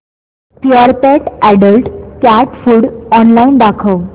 Purepet adult cat food online दाखव